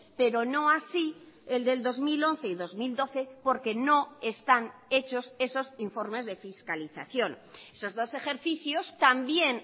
pero no así el del dos mil once y dos mil doce porque no están hechos esos informes de fiscalización esos dos ejercicios también